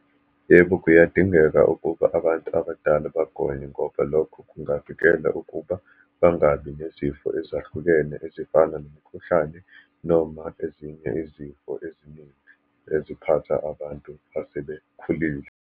Yebo, kuyadingeka ukuba abantu abadala bagonywe ngoba lokho kungavikeka ukuba bangabi nezifo ezahlukene ezifana nomkhuhlane, noma ezinye izifo eziningi eziphatha abantu asebekhulile.